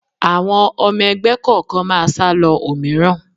Àwọn ọmọ ẹgbẹ́ kọ̀ọ̀kan máa sálọ òmíràn